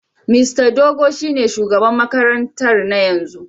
Mista Dogo shine shugaban makarantar na yanzu.